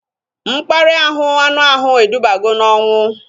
Mkparịa anu ahụ edubago n'onwu